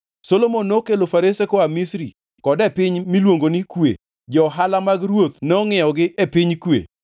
Solomon nokelo farese koa Misri kod e piny miluongo ni Kue, johala mag ruoth nongʼiewogi e piny Kue.